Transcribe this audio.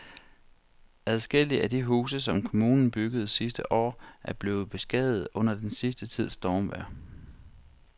Adskillige af de huse, som kommunen byggede sidste år, er blevet beskadiget under den sidste tids stormvejr.